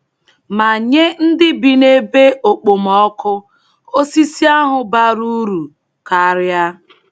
Ma nye ndị bi n’ebe okpomọkụ, osisi ahụ bara uru karịa.